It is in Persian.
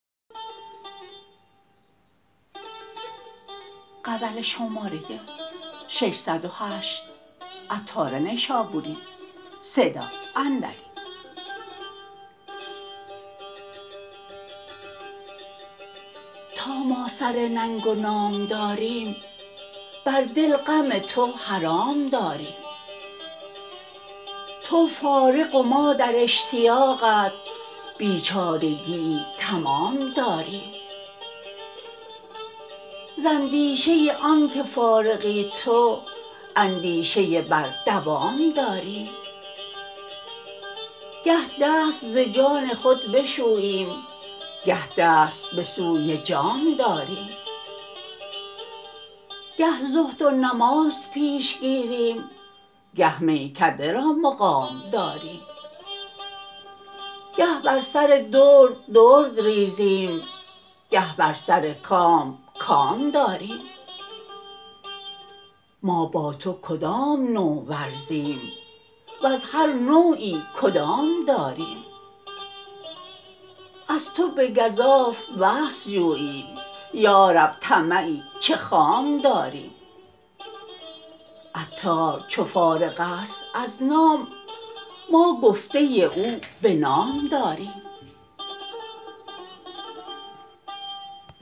تا ما سر ننگ و نام داریم بر دل غم تو حرام داریم تو فارغ و ما در اشتیاقت بیچارگیی تمام داریم ز اندیشه آنکه فارغی تو اندیشه بر دوام داریم گه دست ز جان خود بشوییم گه دست به سوی جام داریم گه زهد و نماز پیش گیریم گه میکده را مقام داریم گه بر سر درد درد ریزیم گه بر سر کام کام داریم ما با تو کدام نوع ورزیم وز هر نوعی کدام داریم از تو به گزاف وصل جوییم یارب طمعی چه خام داریم عطار چو فارغ است از نام ما گفته او به نام داریم